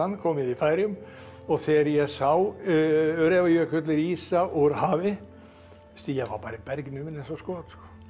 kom við í Færeyjum og þegar ég sá Öræfajökul rísa úr hafi veistu ég var bara bergnuminn eins og skot